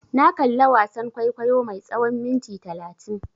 Na kalla wasan kwaikwayo mai tsawan minti talatin.